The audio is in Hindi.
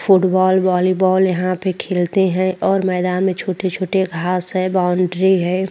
फुटबॉल वॉलीबॉल यहां पे खेलते हैं और मैदान में छोटे-छोटे घास है बाउंड्री है।